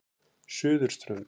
Suðurströnd